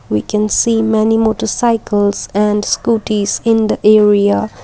we can see many motor cycles and scooties in the area.